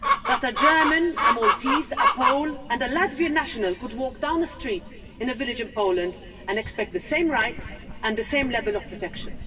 That a German, a Maltese, a Pole and a Latvian national could walk down the street in a village in Poland and expect the same rights and the same level of protection.